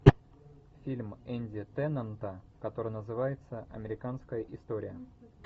фильм энди теннанта который называется американская история